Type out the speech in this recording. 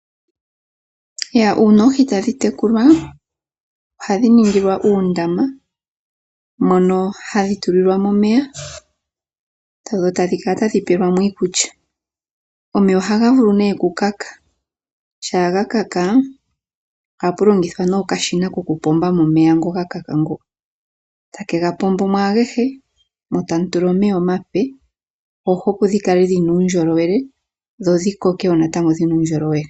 Uuna oohi tadhi tekulwa ohadhi ningilwa uundama mono hadhi tulilwa mo omeya dho tadhi kala tadhi pelwa mo iikulya. Omeya ohaga vulu okuluudha ngele oga luudha ohapu longithwa nee okashina kokupomba mo omeya ngono ga luudha. Take ga pombo mo agehe mo tamu tulwa omeya omape. Oohi opo dhi kale dhina uundjolowele dho dhi koke wo natango dhina uundjolowele.